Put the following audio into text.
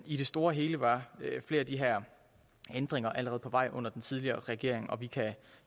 i det store hele var flere af de her ændringer allerede på vej under den tidligere regering og vi kan